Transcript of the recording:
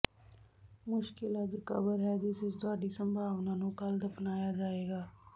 ਮੁਸਕਿਲ ਅੱਜ ਕਬਰ ਹੈ ਜਿਸ ਵਿਚ ਤੁਹਾਡੀ ਸੰਭਾਵਨਾ ਨੂੰ ਕੱਲ੍ਹ ਦਫਨਾਇਆ ਜਾਏਗਾ